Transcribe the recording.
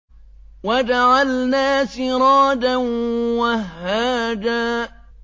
وَجَعَلْنَا سِرَاجًا وَهَّاجًا